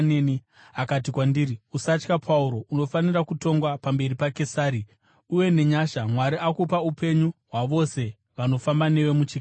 akati kwandiri, ‘Usatya, Pauro. Unofanira kutongwa pamberi paKesari; uye nenyasha Mwari akupa upenyu hwavose vanofamba newe muchikepe.’